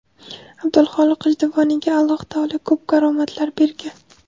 Abdulxoliq G‘ijduvoniyga Alloh taolo ko‘p karomatlar bergan.